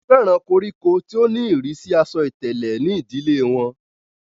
wọ́n fẹ́ràn koríko tí ó ní ìrísí asọ ìtẹ̀lẹ̀ ní ìdílé wọn